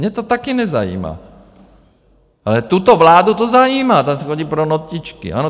Mě to taky nezajímá, ale tuto vládu to zajímá, ta si chodí pro notičky, ano?